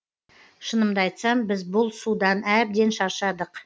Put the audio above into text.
шынымды айтсам біз бұл судан әбден шаршадық